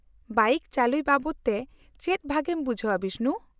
-ᱵᱟᱹᱭᱤᱠ ᱪᱟᱹᱞᱩᱭ ᱵᱟᱵᱚᱫ ᱛᱮ ᱪᱮᱫ ᱵᱷᱟᱹᱜᱤᱢ ᱵᱩᱡᱷᱟᱹᱣᱟ ᱵᱤᱥᱱᱩ ?